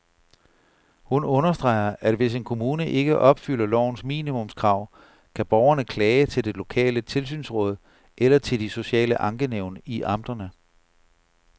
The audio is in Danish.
Hun understreger, at hvis en kommune ikke opfylder lovens minimumskrav, kan borgerne klage til det lokale tilsynsråd eller til de sociale ankenævn i amterne.